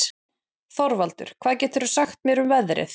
Þorvaldur, hvað geturðu sagt mér um veðrið?